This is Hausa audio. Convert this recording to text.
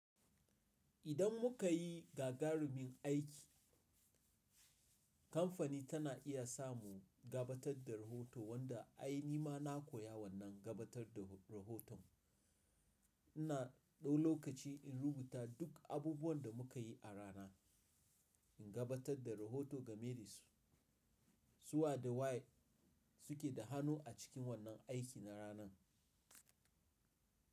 Idan muka yi gagarumin aiki, kamfani tana iya samu gabatar da rahoto wanda ai ni ma na koya wannan gabatar da rahoton. Ina ɗau lokaci in rubuta duk abubuwan da muka yi a rana, in gabatar da rahoto ga me dasu, su waye da waye suke da hannu a cikin wannan aiki na ranan.